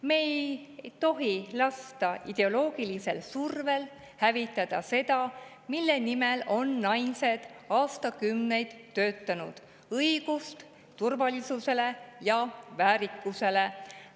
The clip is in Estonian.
Me ei tohi lasta ideoloogilisel survel hävitada seda, mille nimel on naised aastakümneid töötanud, õigust turvalisusele ja väärikusele.